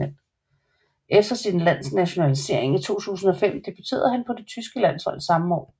Efter sin tyske nationalisering i 2005 debuterede han på det tyske landshold samme år